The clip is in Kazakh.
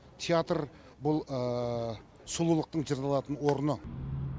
театр бұл сұлулықтың жырланатын орны